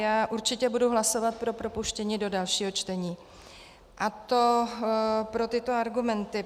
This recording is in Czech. Já určitě budu hlasovat pro propuštění do dalšího čtení, a to pro tyto argumenty.